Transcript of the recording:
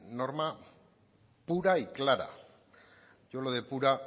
norma pura y clara yo lo de pura